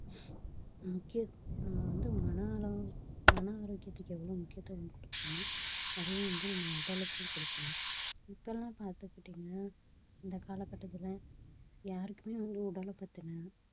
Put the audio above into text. முக்கியம்~ நம்ம வந்து மன அளவு மன ஆரோக்கியத்திற்கு எவ்ளோ கொடுக்கிறோமோ அதே வந்து நம்ம உடலுக்கும் குடுக்கணும் இப்பெல்லாம் பாத்துக்கிட்டீங்க இந்த காலகட்டத்தில யாருக்குமே வந்து உடலை பத்தின